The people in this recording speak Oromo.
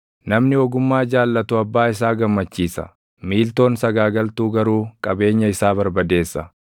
Namni ogummaa jaallatu abbaa isaa gammachiisa; miiltoon sagaagaltuu garuu qabeenya isaa barbadeessa.